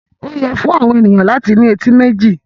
Ó yẹ fún àwọn ènìyàn láti ní etí méjì.